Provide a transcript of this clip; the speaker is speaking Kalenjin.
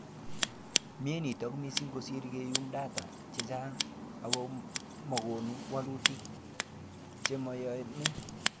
Mie nito missing kosiir keyum data checha'ng akomokonu walutik cheyamei